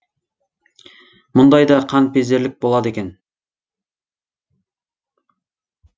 мұндай да қаныпезерлік болады екен